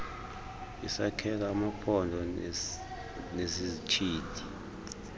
yesakhelo amaphondo nesizithili